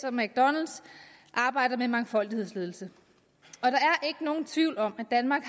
og mcdonalds arbejder med mangfoldighedsledelse og nogen tvivl om at danmark